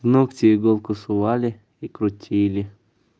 в ногти иголку сували и крутили